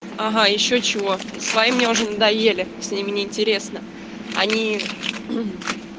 ага ещё чего свои мне уже надоели с ними неинтересно они